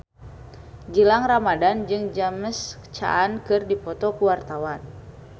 Gilang Ramadan jeung James Caan keur dipoto ku wartawan